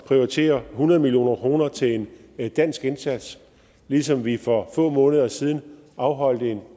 prioritere hundrede million kroner til en dansk indsats ligesom vi for få måneder siden afholdt en